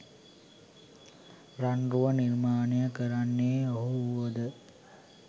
රන් රුව නිර්මාණය කරන්නේ ඔහු වුව ද